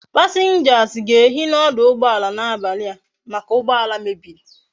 Passengers ga ehi na oduugboala na abali a make ugboala mebiri